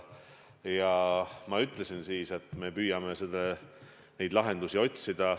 Ma ütlesin siis, et me püüame lahendusi otsida.